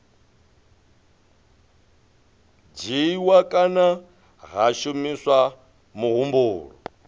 dzhiiwa kana ha shumiswa muhumbulo